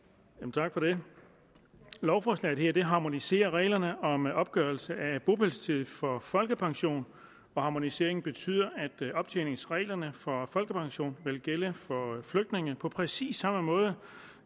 tak for det lovforslaget her harmoniserer reglerne om opgørelse af bopælstid for folkepension og harmoniseringen betyder at optjeningsreglerne for folkepension vil gælde for flygtninge på præcis samme måde